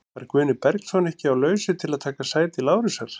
Var Guðni Bergsson ekki á lausu til að taka sæti Lárusar?